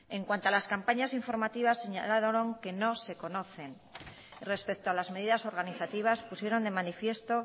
en cuanto a las campañas informativas señalaron que no se conocen respecto a las medidas organizativas pusieron de manifiesto